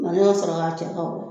Male ka sɔrɔ k'a cɛ ka bɔ